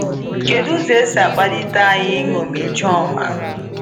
Kedụ ụzọ e si akpalite anyị iñomi Ijoma?